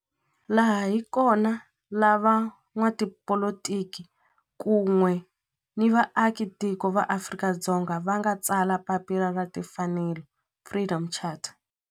Laha hi kona la van'watipolitiki kun'we ni vaaka tiko va Afrika-Dzonga va nga tsala papila ra timfanelo, Freedom Charter.